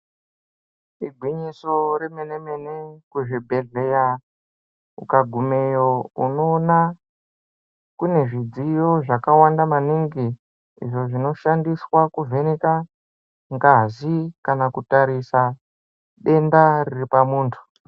Igwinyiso remene-mene kuzvibhedhleya ukagumeyo unoona kune zvidziyo zvakawanda maningi. Izvo zvinoshandiswa kuvheneka ngazi kana kutarisa denda riri pamuntu.